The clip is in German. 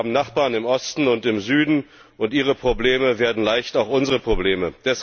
Wir haben Nachbarn im Osten und im Süden und ihre Probleme werden leicht auch unsere Probleme.